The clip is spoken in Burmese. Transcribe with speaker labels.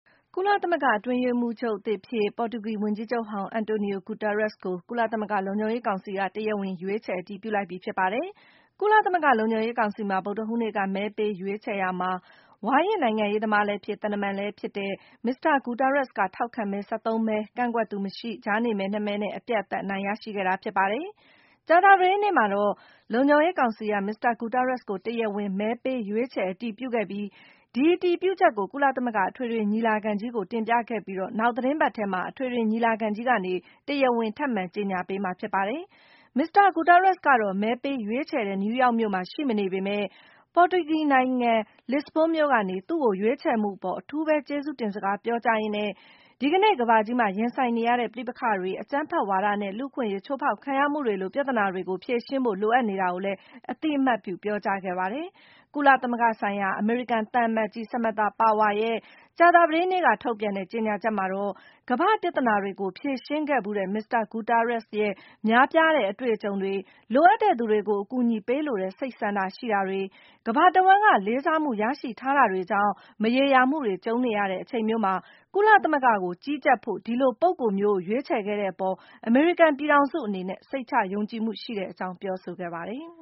Speaker 1: ကုလသမဂ္ဂ အတွင်းရေးမှူးချုပ်သစ်အဖြစ် ပေါ်တူဂီ ဝန်ကြီးချုပ်ဟောင်း Antonio Guterres ကို ကုလသမဂ္ဂ လုံခြုံရေး ကောင်စီက တရားဝင် ရွေးချယ်အတည်ပြုလိုက်ပြီ ဖြစ်ပါတယ်။ ကုလသမဂ္ဂ လုံခြုံရေးကောင်စီမှာ ဗုဒ္ဓဟူးနေ့က မဲပေးရွေးချယ်ရာမှာ - ဝါရင့်နိုင်ငံရေးသမားလည်းဖြစ်၊ သံတမန်လည်း ဖြစ်တဲ့ မစ္စတာ ဂူတားရတ်စ် က ထောက်ခံမဲ ၁၃ မဲ၊ ကန့်ကွက်သူမရှိ၊ ကြားနေမဲ ၂ မဲနဲ့ အပြတ်အသတ် အနိုင်ရရှိခဲ့တာ ဖြစ်ပါတယ်။ ကြာသပတေးနေ့မှာတော့ လုံခြုံရေးကောင်စီက မစ္စတာ ဂုတားရတ်စ်ကို တရားဝင် မဲပေးရွေးချယ် အတည်ပြုခဲ့ပြီး - အတည်ပြုချက်ကို ကုလသမဂ္ဂ အထွေထွေညီလာခံကို တင်ပြခဲ့ပြီး၊ နောက်သီတင်းပတ်ထဲမှာ အထွေထွေညီလာခံက တရားဝင် ထပ်မံကြေညာပေးမှာ ဖြစ်ပါတယ်။ မစ္စတာ Guterres ကတော့ မဲပေးရွေးချယ်တဲ့ နယူးယောက်မြို့မှာ ရှိမနေပေမဲ့ - ပေါ်တူဂီနိုင်ငံ လစ္စဘွန်းမြို့ကနေ - သူ့ကို ရွေးချယ်မှုအပေါ် အထူးပဲ ကျေးဇူးတင်စကား ပြောကြားရင်းနဲ့ ဒီကနေ့ ကမ္ဘာကြီးမှာ ရင်ဆိုင်နေရတဲ့ ပဋိပက္ခတွေ၊ အကြမ်းဖက်ဝါဒနဲ့ လူ့အခွင့်အရေး ချိုးဖောက်ခံရမှုတွေလို ပြဿနာတွေကို ဖြေရှင်းဖို့ လိုအပ်နေတာကိုလည်း အသိအမှတ်ပြု ပြောကြားခဲ့တာပါ။ ကုလသမဂ္ဂဆိုင်ရာ အမေရိကန်သံအမတ်ကြီး Samantha Power ရဲ့ ကြာသပတေးနေ့က ထုတ်ပြန်တဲ့ ကြေညာချက်မှာတော့ - ကမ္ဘာ့ပြဿနာတွေကို ဖြေရှင်းခဲ့ဖူးတဲ့ မစ္စတာ ဂုတားရတ်စ် ရဲ့ ကြီးမားတဲ့ အတွေ့အကြုံတွေ၊ လိုအပ်တဲ့သူတွေကို အကူအညီပေးလိုတဲ့ စိတ်ဆန္ဒရှိတာတွေ၊ ကမ္ဘာတဝှမ်းက လေးစားမှုရရှိထားတာတွေကြောင့်၊ မရေရာမှုတွေ ကြုံနေရတဲ့ အချိန်မျိုးမှာ ကုလသမဂ္ဂကို ကြီးကြပ်ဖို့ ဒီလိုပုဂ္ဂိုလ်မျိုးကို ရွေးချယ်ခဲ့တဲ့အပေါ် အမေရိကန် ပြည်ထောင်စုအနေနဲ့ စိတ်ချယုံကြည်မှုရှိတဲ့အကြောင်း ပြောဆိုခဲ့ပါတယ်။